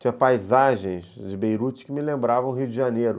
Tinha paisagens de Beirute que me lembravam o Rio de Janeiro.